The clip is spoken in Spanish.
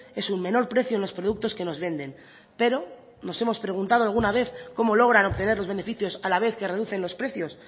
es un menor precio en los productos que nos venden pero nos hemos preguntado alguna vez cómo logran obtener los beneficios a la vez que reducen los precios